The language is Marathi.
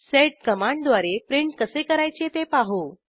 सेड कमांडद्वारे प्रिंट कसे करायचे ते पाहू